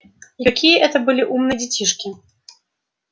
и какие это были умные детишки